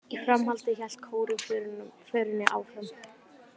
Í framhaldinu hélt kórinn förinni áfram